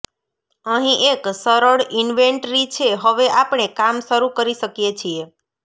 અહીં એક સરળ ઇન્વેન્ટરી છે હવે આપણે કામ શરૂ કરી શકીએ છીએ